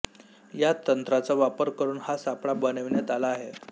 या तंत्राचा वापर करून हा सापळा बनविण्यात आला आहे